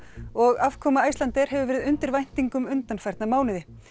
og afkoma Icelandair hefur verið undir væntingum undanfarna mánuði